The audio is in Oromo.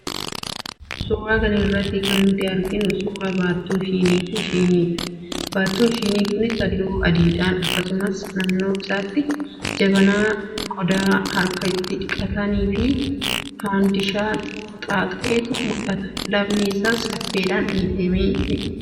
Suuraa kana irratti kan nuti arginu suuraa baattuu shinii fi shiniidha. Baattuun shinii kunis, halluu adiidha. Akkasumas, naannoo isaatti jabanaa, qodaa harka itti dhiqatan fi faandishaa xaaxa'etu mul'ata. Lafni isaas caffeedhaan miidhagfamee argama.